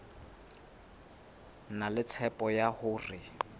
na le tshepo ya hore